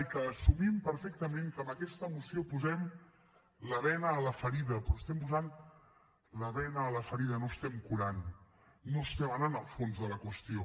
i que assumim perfectament que amb aquesta moció posem la bena a la ferida però posem la bena a la ferida no curem no anem al fons de la qüestió